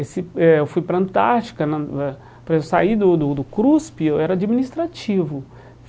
Esse eh eu fui para Antártica na eh, para eu sair do do do CRUSP, eu era administrativo.